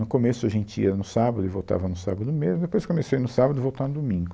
No começo a gente ia no sábado e voltava no sábado mesmo, depois começou a ir no sábado e voltar no domingo.